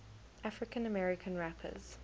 african american rappers